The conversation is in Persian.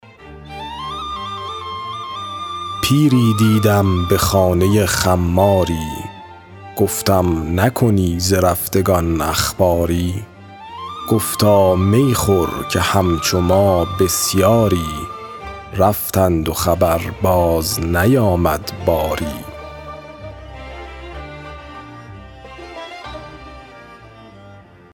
پیری دیدم به خانه خماری گفتم نکنی ز رفتگان اخباری گفتا می خور که همچو ما بسیاری رفتند و خبر باز نیامد باری